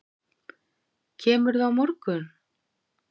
Kemurðu á morgun?